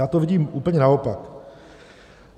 Já to vidím úplně naopak.